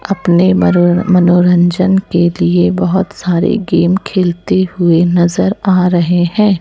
अपने मरोर मनोरंजन के लिए बहुत सारे गेम खेलते हुए नजर आ रहे हैं।